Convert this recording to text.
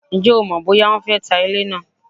Ǹjẹ́ o mọ̀ bóyá wọ́n fé ta ilé naa?